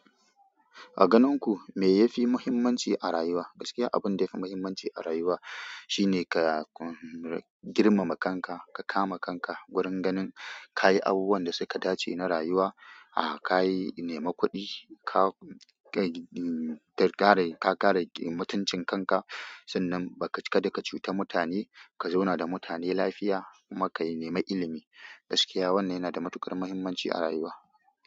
A ganin ku me ya fi mahimmanci a rayuwa? Gaskiya abinda yafi mahimmanci a rayuwa. Shine ka girmama kanka, ka kama kanka wurin ganin ka yi abubuwan da suka dace na rayuwa, kayi nemi kuɗi ka kare mutuncin kanka, sannan kada ka cuta mutane, ka zauna da mutane lafiya, kuma ka nemi ilimi gaskiya wannan yana da matuƙar mahimmanci a rayuwa.